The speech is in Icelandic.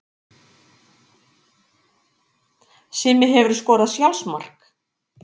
Simmi Hefurðu skorað sjálfsmark?